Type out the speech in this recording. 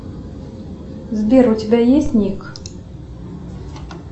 сбер у тебя есть ник